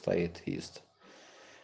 поэт ест